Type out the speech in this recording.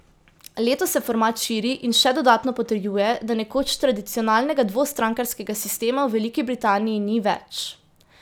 Letos se format širi in še dodatno potrjuje, da nekoč tradicionalnega dvostrankarskega sistema v Veliki Britaniji ni več.